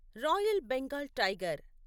royal Bengal tiger